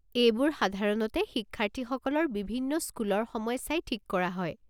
এইবোৰ সাধাৰণতে শিক্ষাৰ্থীসকলৰ বিভিন্ন স্কুলৰ সময় চাই ঠিক কৰা হয়।